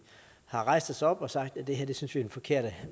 har rejst os og sagt at det her synes vi er den forkerte